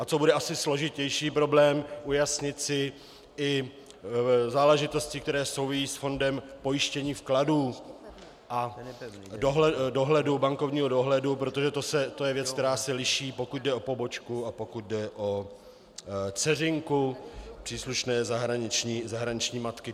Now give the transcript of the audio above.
A co bude asi složitější problém, ujasnit si i záležitosti, které souvisejí s Fondem pojištění vkladů a bankovního dohledu, protože to je věc, která se liší, pokud jde o pobočku a pokud jde o dceřinku příslušné zahraniční matky.